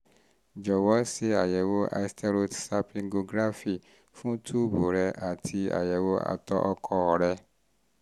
jọ̀wọ́ ṣe àyẹ̀wò hysterosalpingography fún túùbù rẹ àti àyẹ̀wò àtọ̀ um ọkọ rẹ